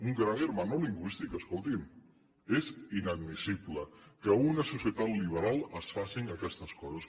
un gran hermano lingüístic escolti’m és inadmissible que en una societat liberal es facin aquestes coses